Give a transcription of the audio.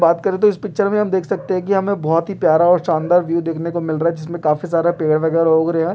बात करे तो इस पिक्चर में हम देख सकते हैं कि हमें बोहोत ही प्यारा और शानदार व्यू देखने को मिल रहा है जिसमें काफी सारा पेड़ वगैरा उग रहे हैं।